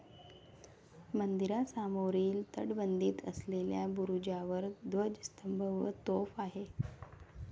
मंदिरासमोरील तटबंदीत असलेल्या बुरुजावर ध्वजस्तंभ व तोफ आहे.